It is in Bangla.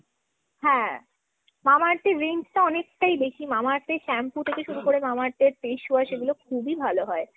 Mamaearth এর range টা অনেকটাই বেশি। Mamaearth এর shampoo থেকে শুরু করে Mamaearth এর face বাস খুবই ভালো হয়।